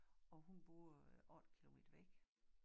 Og hun boede 8 kilometer væk